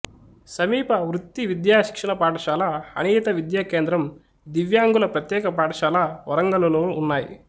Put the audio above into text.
సమీప వృత్తి విద్యా శిక్షణ పాఠశాల అనియత విద్యా కేంద్రం దివ్యాంగుల ప్రత్యేక పాఠశాల వరంగల్లో ఉన్నాయి